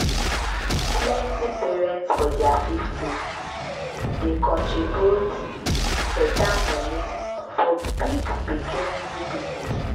plenty parents for ther fiftiess dey contribute better money for big pikin new business